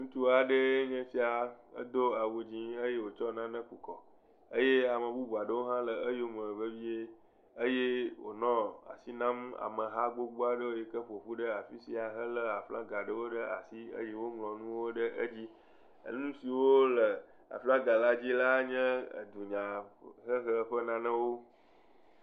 Ŋutsu aɖe ya do awu ɣi eye wokɔ nane kɔ ku kɔ eye ame bubuawo ɖewo hã le eyome vevie eye wonɔ asi nyame ameha aɖewo yike ƒoƒu ɖe afisia yike hele aflaga ɖe asi yike woŋlɔ nuwo ɖe edzi. Enu siwo le aflaga la dzi la nye dunya hehe ƒe nyawo.